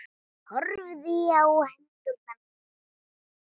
Horfði á hendur mínar.